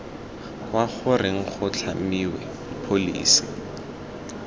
kwa goreng go tlhamiwe pholesi